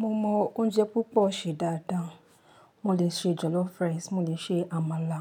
Mo mọ oúnjẹ púpọ̀ ṣe dáadáa. Mo lè ṣe jollof rice, mo lè ṣe àmàlà,